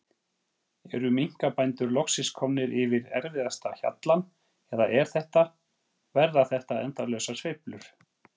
Eru minkabændur loksins komnir yfir erfiðasta hjallann eða er þetta, verða þetta endalausar sveiflur?